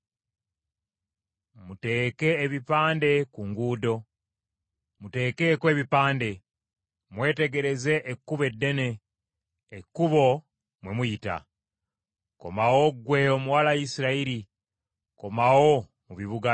“Muteeke ebipande ku nguudo; muteekeeko ebipande. Mwetegereze ekkubo eddene, ekkubo mwe muyita. Komawo ggwe Omuwala Isirayiri, komawo mu bibuga byo.